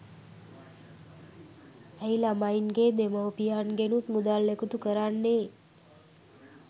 ඇයි ළමයින්ගේ දෙමව්පියන්ගෙනුත් මුදල් එකතු කරන්නේ